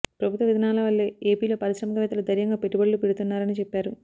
ప్రభుత్వ విధానాల వల్లే ఏపీలో పారిశ్రామికవేత్తలు ధైర్యంగా పెట్టుబడులు పెడుతున్నారని చెప్పారు